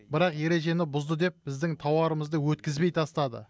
бірақ ережені бұзды деп біздің тауарымызды өткізбей тастады